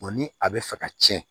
ni a bɛ fɛ ka tiɲɛ